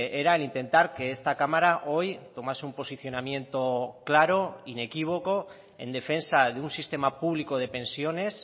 era el intentar que esta cámara hoy tomase un posicionamiento claro inequívoco en defensa de un sistema público de pensiones